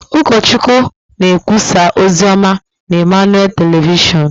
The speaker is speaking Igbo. Ụkọchukwu na-ekwusa ozi ọma na Emmanuel Telịvịshon.